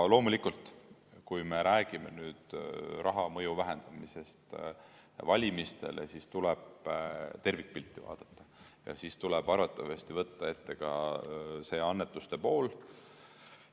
Loomulikult, kui me räägime nüüd raha mõju vähendamisest valimistele, siis tuleb tervikpilti vaadata ja siis tuleb arvatavasti võtta ette ka see annetuste pool.